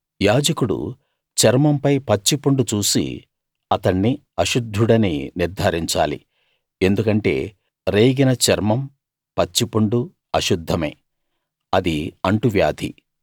యాజకుడు చర్మంపై పచ్చి పుండు చూసి అతణ్ణి అశుద్ధుడని నిర్థారించాలి ఎందుకంటే రేగిన చర్మం పచ్చి పుండు అశుద్ధమే అది అంటువ్యాధి